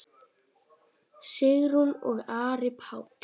Sigrún og Ari Páll.